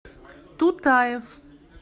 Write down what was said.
тутаев